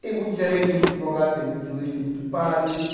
Tem muito gerente, tem muito advogado, tem muito juiz, tem muito padre...